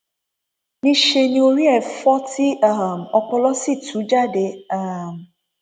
níṣẹ ni orí rẹ fọ tí um ọpọlọ sì tú jáde um